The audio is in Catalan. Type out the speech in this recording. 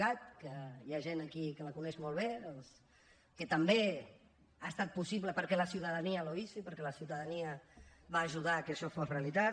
cat que hi ha gent aquí que la coneixen molt bé que també ha estat possible perquè la ciudadanía lo hizo i perquè la ciutadania va ajudar que això fos realitat